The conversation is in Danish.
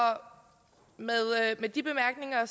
med de bemærkninger